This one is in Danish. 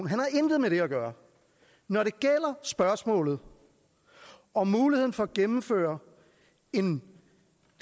han har intet med det her at gøre når det gælder spørgsmålet om muligheden for at gennemføre en